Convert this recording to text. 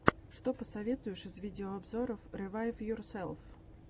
что посоветуешь из видеообзоров ревайвйорселф